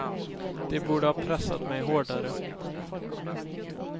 De borde ha pressat mig hårdare.